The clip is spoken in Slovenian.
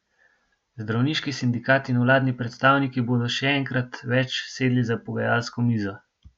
Zdravniški sindikat in vladni predstavniki bodo še enkrat več sedli za pogajalsko mizo.